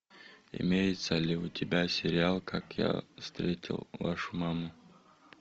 имеется ли у тебя сериал как я встретил вашу маму